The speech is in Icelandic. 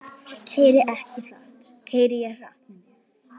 Keyri ég hratt?